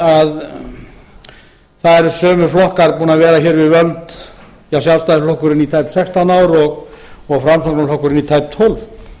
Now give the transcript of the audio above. að það eru sömu flokkar búnir að vera hér við völd sjálfstæðisflokkurinn í tæp sextán ár og framsóknarflokkurinn í tæp tólf